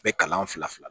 Bɛɛ kalan fila fila